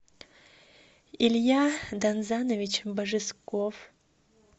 илья данзанович божесков